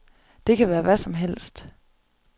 Det kan være hvad som helst.